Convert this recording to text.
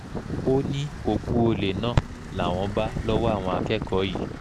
ó ní òkú olè náà làwọn bá lọ́wọ́ àwọn akẹ́kọ̀ọ́ yìí